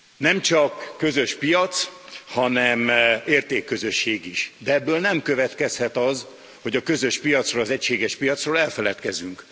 Nemcsak közös piac, hanem értékközösség is, de ebből nem következhet az, hogy a közös piacról, az egységes piacról elfeledkezünk.